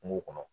Kungo kɔnɔ